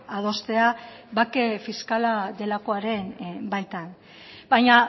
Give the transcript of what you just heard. adostea bake fiskala delakoaren baitan baina